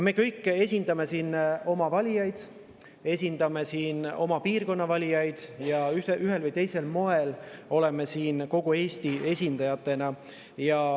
Me kõik esindame siin oma valijaid, esindame oma piirkonna valijaid ja ühel või teisel moel oleme siin kogu Eesti esindajatena.